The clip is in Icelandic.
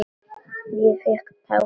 Ég fékk tár í augun.